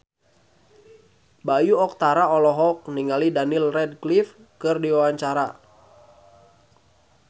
Bayu Octara olohok ningali Daniel Radcliffe keur diwawancara